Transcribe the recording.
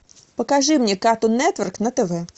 покажи мне картун нетворк на тв